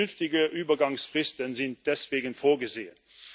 Vernünftige Übergangsfristen sind deswegen vorgesehen.